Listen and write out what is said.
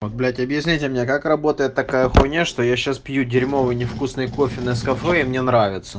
вот блять объясните мне как работает такая хуйня что я сейчас пью дерьмовый невкусное кофе нескафе и мне нравится